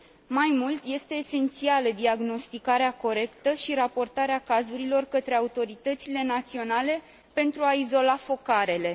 Mai mult, este esențială diagnosticarea corectă și raportarea cazurilor către autoritățile naționale pentru a izola focarele.